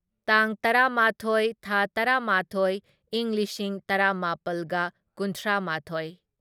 ꯇꯥꯡ ꯇꯔꯥꯃꯥꯊꯣꯢ ꯊꯥ ꯇꯔꯥꯃꯥꯊꯣꯢ ꯢꯪ ꯂꯤꯁꯤꯡ ꯇꯔꯥꯃꯥꯄꯜꯒ ꯀꯨꯟꯊ꯭ꯔꯥꯃꯥꯊꯣꯢ